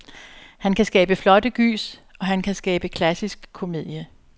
Han kan skabe flotte gys, og han kan skabe klassisk komedie.